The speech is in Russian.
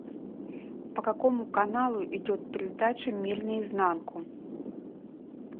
по какому каналу идет передача мир наизнанку